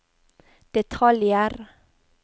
detaljer